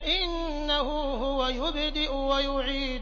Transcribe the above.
إِنَّهُ هُوَ يُبْدِئُ وَيُعِيدُ